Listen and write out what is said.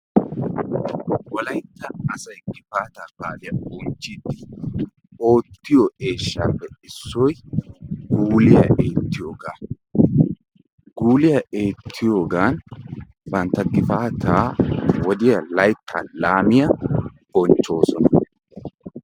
Wolaytta asay gifaataa baaliya bonchchiiddi oottiyo eeshshaappe issoy guuliya eettiyogaa. Guuliya eettiyogan bantta gifaataa wodiya layttaa laamiya bonchchoosona.